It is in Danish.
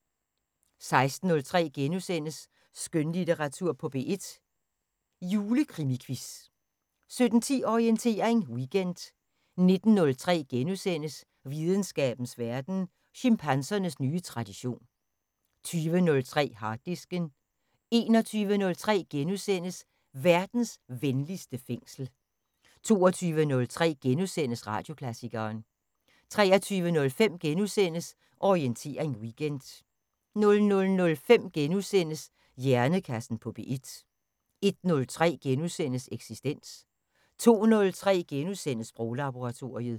16:03: Skønlitteratur på P1: Julekrimiquiz * 17:10: Orientering Weekend 19:03: Videnskabens Verden: Chimpansernes nye tradition * 20:03: Harddisken 21:03: Verdens venligste fængsel * 22:03: Radioklassikeren * 23:05: Orientering Weekend * 00:05: Hjernekassen på P1 * 01:03: Eksistens * 02:03: Sproglaboratoriet *